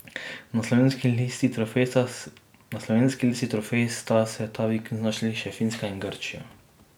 Na slovenski listi trofej sta se ta vikend znašli še Finska in Grčija.